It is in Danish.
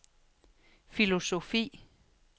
filosofi